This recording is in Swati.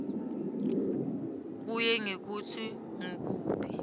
kuye ngekutsi ngukuphi